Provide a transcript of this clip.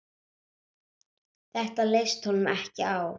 Þetta leist honum ekki á.